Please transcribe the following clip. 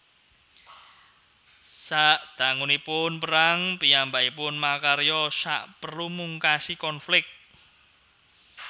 Sadangunipun perang piyambakipun makarya saperlu mungkasi konflik